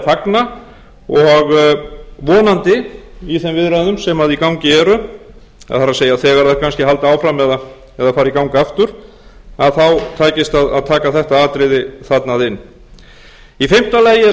fagna og vonandi í þeim viðræðum sem í gangi eru það er þær kannski halda áfram eða fara í gang aftur að þá takist að taka þetta atriði þarna inn í fimmta lagi